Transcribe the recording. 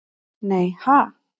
Nei ha?